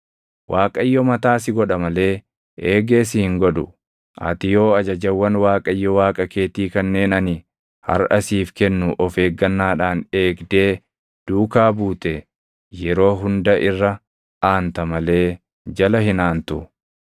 Waaqayyo mataa si godha malee eegee si hin godhu. Ati yoo ajajawwan Waaqayyo Waaqa keetii kanneen ani harʼa siif kennu of eeggannaadhaan eegdee duukaa buute, yeroo hunda irra aanta malee jala hin aantu.